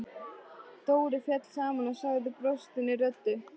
Dóri féll saman og sagði brostinni röddu: